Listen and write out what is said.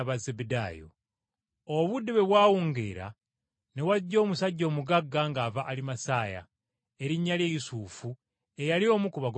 Obudde bwe bwawungeera, ne wajja omusajja omugagga ng’ava Alimasaya, erinnya lye Yusufu eyali omu ku bagoberezi ba Yesu.